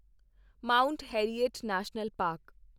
Mount Harriet National park